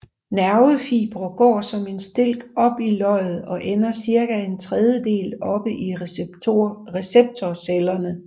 Nervefibre går som en stilk op i løget og ender cirka en tredjedel oppe i receptorcellerne